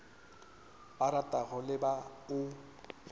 ba ratago le ba o